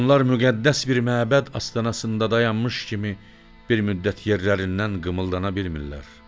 Onlar müqəddəs bir məbəd astanasında dayanmış kimi bir müddət yerlərindən qımıldana bilmirlər.